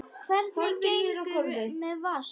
Hvernig gengur með Vask?